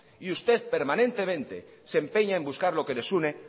y usted permanentemente se empeña en buscar lo que les une